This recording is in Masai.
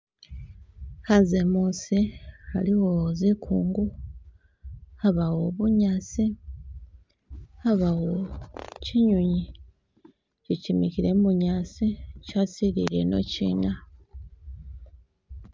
Khanze muusi aliwo zikungu, abawo bunyaasi , abawo kinyonyi ikyo kimikhile mubunyaasi kyasilile ino chiina.